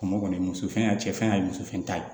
O kɔni muso fɛ a cɛ fɛn y'a muso fɛ ye